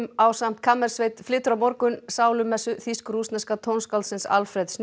ásamt kammersveit flytur á morgun sálumessu þýsk rússneska tónskáldsins Alfred